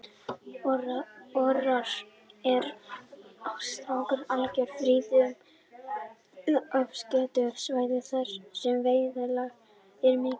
Orrar eru sérstaklega algengir á friðuðum eða afskekktum svæðum þar sem veiðiálag er ekki mikið.